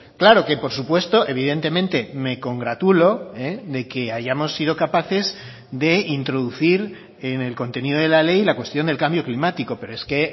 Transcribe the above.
claro que por supuesto evidentemente me congratulo de que hayamos sido capaces de introducir en el contenido de la ley la cuestión del cambio climático pero es que